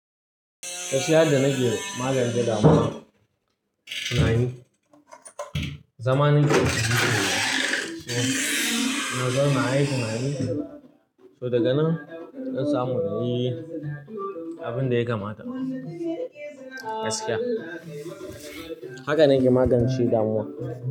Gaskiya da na ke magance damuwa. Na yi zamanin kiwo sosai. Nazar na aiki na yi, so daga nan in samu na yi abin da ya kamata gaskiya. Haka na ke magance damuwa.